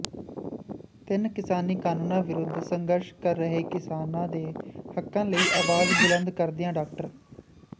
ਤਿੰਨ ਕਿਸਾਨੀ ਕਾਨੂੰਨਾਂ ਵਿਰੁੱਧ ਸੰਘਰਸ਼ ਕਰ ਰਹੇ ਕਿਸਾਨਾਂ ਦੇ ਹੱਕਾਂ ਲਈ ਆਵਾਜ਼ ਬੁਲੰਦ ਕਰਦਿਆਂ ਡਾ